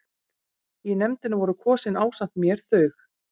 Í nefndina voru kosin ásamt mér þau